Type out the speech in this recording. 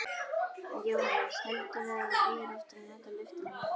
Jóhannes: Heldurðu að þú eigir eftir að nota lyftuna mikið?